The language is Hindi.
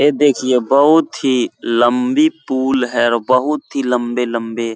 ये देखिए बहूत ही लम्बी पुल है और बहूत ही लम्बे-लम्बे --